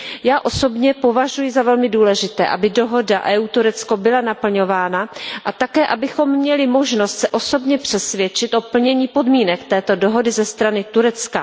Já osobně považuji za velmi důležité, aby dohoda EU Turecko byla naplňována a také abychom měli možnost se osobně přesvědčit o plnění podmínek této dohody ze strany Turecka.